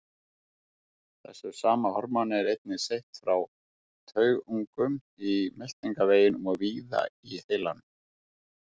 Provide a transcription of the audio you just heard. Þessu sama hormóni er einnig seytt frá taugungum í meltingarveginum og víða í heilanum.